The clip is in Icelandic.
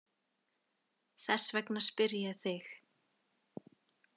Þess vegna spyr ég þig.